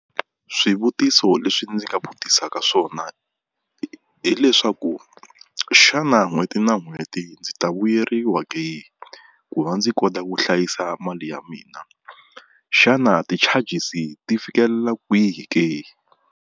Swivutiso leswi ndzi nga vutisaka swona hileswaku xana n'hweti na n'hweti ndzi ta vuyeriwa ke ku va ndzi kota ku hlayisa mali ya mina, xana ti-charges ti fikelela kwihi ke.